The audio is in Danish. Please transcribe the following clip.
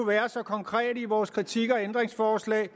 være så konkrete i vores kritik og ændringsforslag